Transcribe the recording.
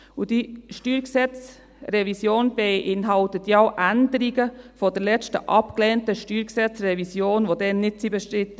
Und diese StG-Revision beinhaltet ja Änderungen, die in der letzten abgelehnten StG-Revision nicht bestritten waren.